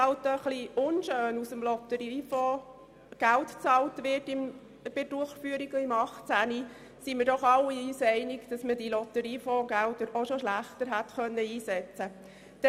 Auch wenn es etwas unschön ist, dass aus dem Lotteriefonds Geld für die Durchführung im Jahr 2018 bezahlt wird, sind wir uns doch alle einig, dass man diese Lotteriefonds-Gelder auch schlechter hätte einsetzen können.